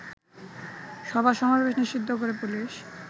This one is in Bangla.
সভা-সমাবেশ নিষিদ্ধ করে পুলিশ